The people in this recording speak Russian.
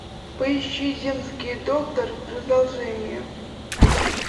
поищи земский доктор продолжение